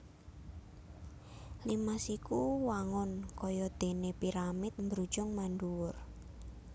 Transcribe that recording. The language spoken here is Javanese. Limas iku wangun kaya déné piramid mbrujung mandhuwur